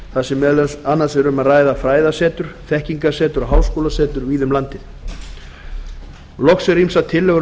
þar sem meðal annars er um að ræða fræðasetur þekkingarsetur og háskólasetur víða um landið loks eru ýmsar tillögur um